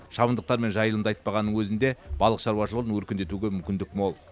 шабындықтар мен жайылымды айтпағанның өзінде балық шаурашылығын өркендетуге мүмкіндік мол